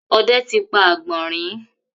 òde tí pá agbọnrin.